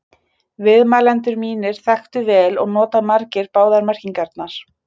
Viðmælendur mínir þekktu vel og nota margir báðar merkingarnar.